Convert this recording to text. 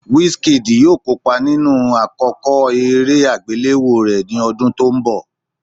Wisikid yóò kópa nínú àkọ́kọ́ eré àgbéléwò rẹ̀ ní ọdún tó ń bi